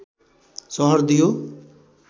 सहर दियो